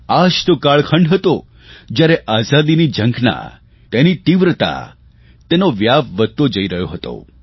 આ જ તો કાળખંડ હતો જયારે આઝાદીની ઝંખના તેની તીવ્રતા તેનો વ્યાપ વધતો જ જઇ રહ્યો હતો